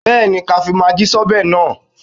Bẹ́ẹ̀ni, ká fi magí sí ọbẹ̀ náà